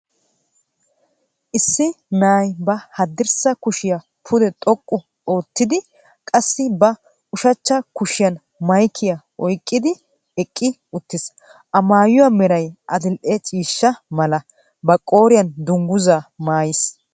Issi na'iya ba haddirssa kushiya pude xoqqu oottidi qassi ba ushshachcha kushiyan maykkiya oyqqidi eqqi uttiis. A maayuwa meray adil"e ciishsha mala, ba qooriyan dungguzzaa maayiis.